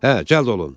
Hə, cəld olun!